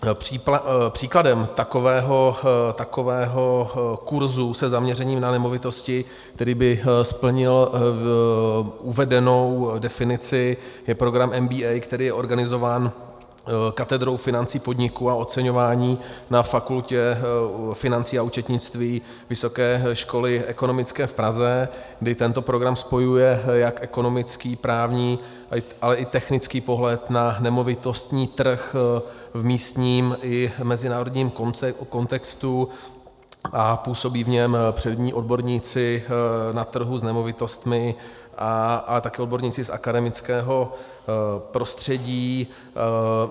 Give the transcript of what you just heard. Příkladem takového kurzu se zaměřením na nemovitosti, který by splnil uvedenou definici, je program MBA, který je organizován katedrou financí podniku a oceňování na Fakultě financí a účetnictví Vysoké školy ekonomické v Praze, kdy tento program spojuje jak ekonomický, právní, tak i technický pohled na nemovitostní trh v místním i mezinárodním kontextu a působí v něm přední odborníci na trhu s nemovitostmi, ale také odborníci z akademického prostředí.